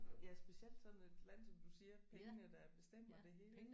Ja specielt sådan et land som du siger pengene der bestemmer det hele